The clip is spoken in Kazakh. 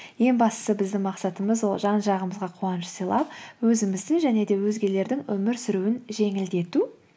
ең бастысы біздің мақсатымыз ол жан жағымызға қуаныш сыйлап өзіміздің және де өзгелердің өмір сүруін жеңілдету